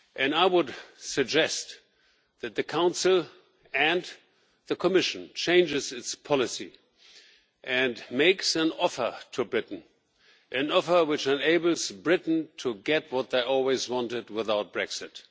I would suggest that the Council and the Commission change their policy and make an offer to Britain an offer which enables Britain to get what they always wanted without Brexit.